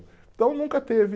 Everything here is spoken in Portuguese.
Então nunca teve